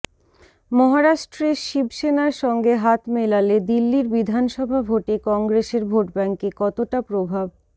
মহারাষ্ট্রে শিবসেনার সঙ্গে হাত মেলালে দিল্লির বিধানসভা ভোটে কংগ্রেসের ভোটব্যাঙ্কে কতটা প্রভাব